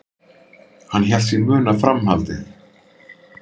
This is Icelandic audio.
Hann hélt sig muna framhaldið.